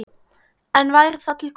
En væri það til góðs?